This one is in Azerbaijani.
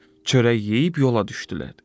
Çörək yeyib yola düşdülər.